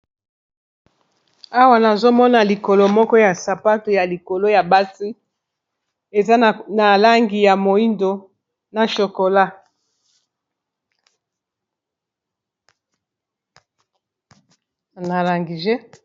Awa nazomona likolo moko ya sapato ya likolo ya basi eza na langi ya moindo, na chokolana langije.